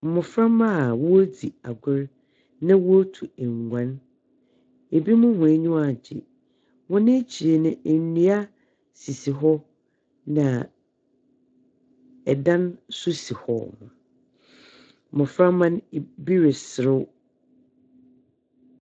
Mmoframba a wɔredzi agor na wɔretu nguan. Ebinom wɔn anyiwa agye. Wɔn ahyir no ndua sisi hɔ na ɛdan nso si hɔ. Mmoframba no, bi reserew.